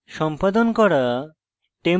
preferences সম্পাদন করা